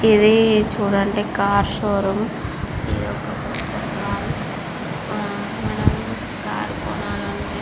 ఇది చుడండి car showroom మనము --